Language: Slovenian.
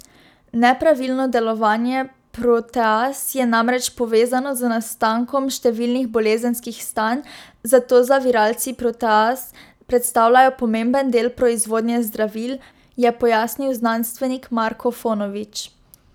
Nepravilno delovanje proteaz je namreč povezano z nastankom številnih bolezenskih stanj, zato zaviralci proteaz predstavljajo pomemben del proizvodnje zdravil, je pojasnil znanstvenik Marko Fonović.